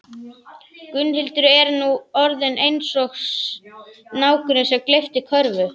Gunnhildur er nú orðin eins og snákurinn sem gleypti körfu